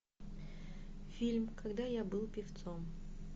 фильм когда я был певцом